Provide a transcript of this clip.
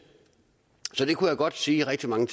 og godt sige rigtig mange